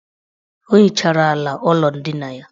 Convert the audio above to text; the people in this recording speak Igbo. O hichara ala ụlọ ndina ya.